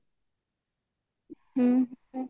ହ୍ମ